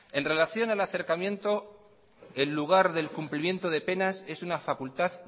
en relación al acercamiento en lugar del cumplimiento de penas es una facultad